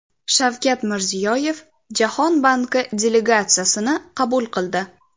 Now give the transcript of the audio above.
Shavkat Mirziyoyev Jahon banki delegatsiyasini qabul qildi.